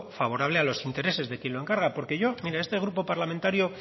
favorable a los intereses de quien lo encarga porque yo mire este grupo parlamentario